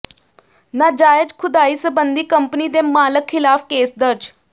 ਨਾਜਾਇਜ਼ ਖੁਦਾਈ ਸਬੰਧੀ ਕੰਪਨੀ ਦੇ ਮਾਲਕ ਖਿਲਾਫ਼ ਕੇਸ ਦਰਜ